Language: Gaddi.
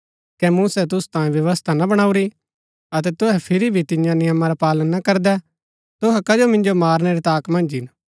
कै मूसै तुसू तांयें व्यवस्था ना बाणाऊरी अतै तुहै फिरी भी तियां नियमा रा पालन ना करदै तुहै कजो मिन्जो मारनै री ताक मन्ज हिन